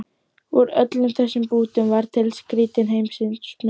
Úr öllum þessum bútum varð til skrýtin heimsmynd